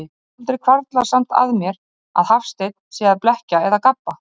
Aldrei hvarflar samt að mér, að Hafsteinn sé að blekkja eða gabba.